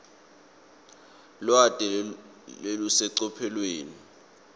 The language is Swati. lwati lolusecophelweni